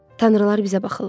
Tanrılar bizə baxırlar.